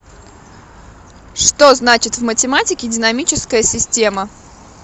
что значит в математике динамическая система